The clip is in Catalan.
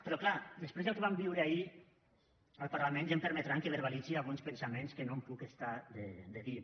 però clar després del que vam viure ahir al parlament ja em permetran que verbalitzi alguns pensaments que no em puc estar de dir